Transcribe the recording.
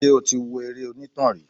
Ṣé o ti wo eré onítàn rí?